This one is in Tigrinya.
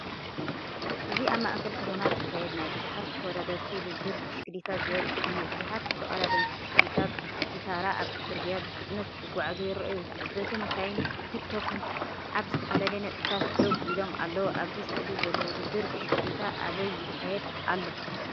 እዚ ኣብ ማእከል ከተማ ዝካየድ ናይ ብዙሓት ተወዳደርቲ ውድድር ብሽክለታ ዘርኢ እዩ። ብዙሓት ተቐዳደምቲ ብሽክለታ በብተራ ኣብቲ ጽርግያ ብፍጥነት ክጓዓዙ ይረኣዩ። ተዓዘብቲ፡መካይንን ቱክ-ቱክን ኣብ ዝተፈላለየ ነጥብታት ደው ኢሎም ኣለዉ። ኣብ ስእሊ ዘሎ ውድድር ብሽክለታ ኣበይ ይካየድ ኣሎ?